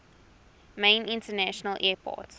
main international airport